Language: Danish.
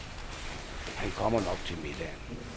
Han kommer nok til middagen.